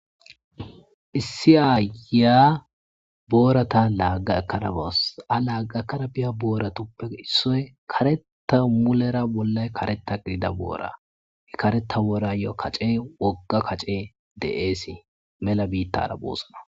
Issi ayiya boorata laagga ekarabas a laagga ekarabiya booratuppe issoy kareta mulera bollay kareta gidida boora he kareta boorayo kace wogga kace de7eesii mela biittara boossana.